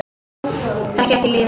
Þekkja ekki lífið.